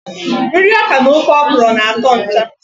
Nri ọkà na ofe okro na atọ ncha.